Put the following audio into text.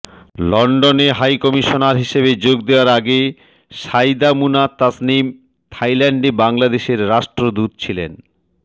লন্ডনে হাইকমিশনার হিসেবে যোগ দেয়ার আগে সাঈদা মুনা তাসনিম থাইল্যান্ডে বাংলাদেশের রাষ্ট্রদূত ছিলেন